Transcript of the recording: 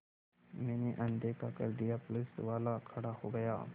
मैंने अनदेखा कर दिया पुलिसवाला खड़ा हो गया